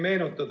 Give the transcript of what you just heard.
Aitäh!